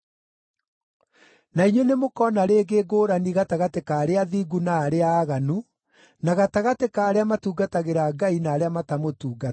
Na inyuĩ nĩmũkona rĩngĩ ngũũrani gatagatĩ ka arĩa athingu na arĩa aaganu, na gatagatĩ ka arĩa matungatagĩra Ngai na arĩa matamũtungatagĩra.